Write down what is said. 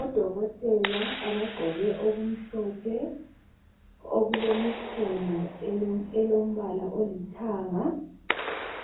Odokotela abagqoke okumhlophe okulemikhono elombala olithanga